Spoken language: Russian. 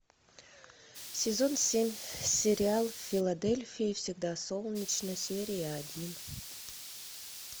сезон семь сериал в филадельфии всегда солнечно серия один